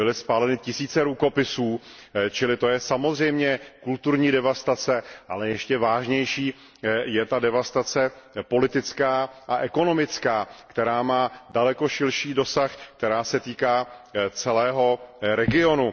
Byly spáleny tisíce rukopisů, čili to je samozřejmě kulturní devastace, ale ještě vážnější je ta devastace politická a ekonomická, která má daleko širší dosah, která se týká celého regionu.